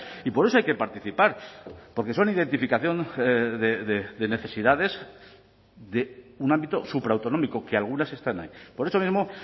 y por eso hay que participar porque son identificación de necesidades de un ámbito supraautonómico que algunas están ahí por eso mismo